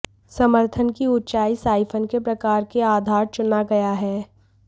समर्थन की ऊंचाई साइफन के प्रकार के आधार चुना गया है